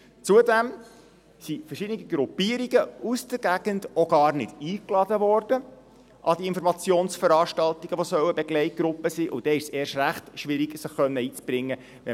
Zudem wurden verschiedene Gruppierungen aus der Gegend auch gar nicht an die Informationsveranstaltungen, die eine Begleitgruppe sein soll, eingeladen.